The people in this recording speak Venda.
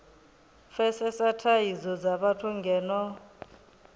pfesesa thadzo dza vhathu ngeno